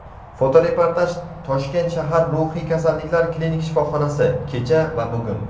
Fotoreportaj: Toshkent shahar ruhiy kasalliklar klinik shifoxonasi (kecha va bugun).